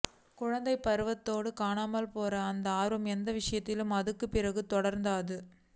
குழந்தைப் பருவத்தோட காணாமப் போற அந்த ஆர்வம் என் விஷயத்துல அதுக்குப் பிறகும் தொடர்ந்தது